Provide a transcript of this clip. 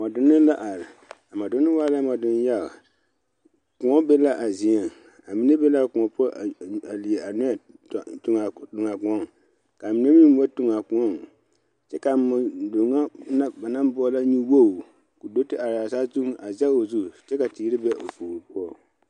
Moɔ donne la are a moɔ donne waa la moɔ donne yaga kõɔ mine meŋ ba tu a kõɔ kyɛ ka moɔ donne na ba naŋ boɔlɔ nyuwogi a sige te kyɛ ka teere ba o puori poɔ.